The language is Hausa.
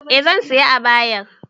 Eh zan sayi abayar